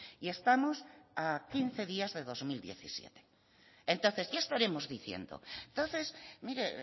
y estamos a quince días de dos mil diecisiete entonces ya estaremos diciendo entonces mire